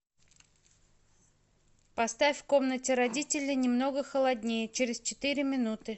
поставь в комнате родителей немного холоднее через четыре минуты